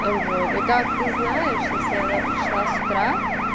а вот и как ты знаешь если она пришла с утра